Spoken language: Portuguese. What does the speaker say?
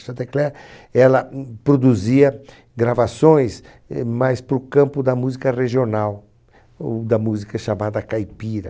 Chantecler ela, hum, produzia gravações, eh, mais para o campo da música regional, ou da música chamada caipira.